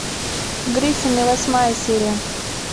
гриффины восьмая серия